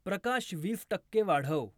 प्रकाश वीस टक्के वाढव